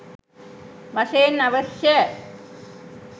වශයෙන් අවශ්‍යය.